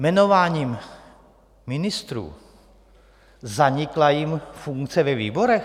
Jmenováním ministrů zanikla jim funkce ve výborech?